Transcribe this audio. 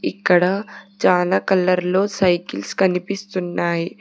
ఇక్కడ చాలా కలర్ లో సైకిల్స్ కనిపిస్తున్నాయి.